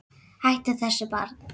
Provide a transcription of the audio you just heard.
Hættu þessu barn!